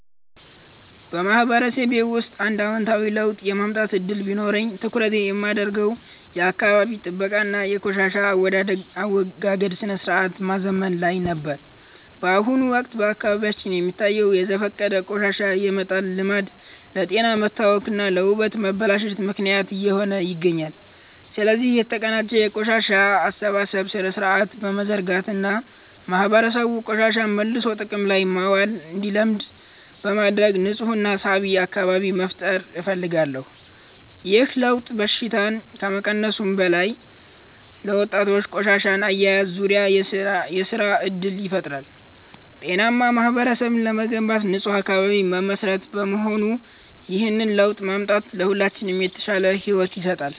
በማህበረሰቤ ውስጥ አንድ አዎንታዊ ለውጥ የማምጣት ዕድል ቢኖረኝ፣ ትኩረቴን የማደርገው የአካባቢ ጥበቃ እና የቆሻሻ አወጋገድ ሥርዓትን ማዘመን ላይ ነበር። በአሁኑ ወቅት በአካባቢያችን የሚታየው በዘፈቀደ ቆሻሻ የመጣል ልማድ ለጤና መታወክ እና ለውበት መበላሸት ምክንያት እየሆነ ይገኛል። ስለዚህ፣ የተቀናጀ የቆሻሻ አሰባሰብ ሥርዓት በመዘርጋት እና ማህበረሰቡ ቆሻሻን መልሶ ጥቅም ላይ ማዋል እንዲለምድ በማድረግ ንፁህና ሳቢ አካባቢ መፍጠር እፈልጋለሁ። ይህ ለውጥ በሽታን ከመቀነሱም በላይ፣ ለወጣቶች በቆሻሻ አያያዝ ዙሪያ የሥራ ዕድል ይፈጥራል። ጤናማ ማህበረሰብ ለመገንባት ንፁህ አካባቢ መሠረት በመሆኑ፣ ይህንን ለውጥ ማምጣት ለሁላችንም የተሻለ ሕይወት ይሰጣል።